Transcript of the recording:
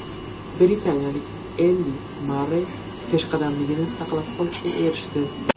Britaniyalik Endi Marrey peshqadamligini saqlab qolishga erishdi.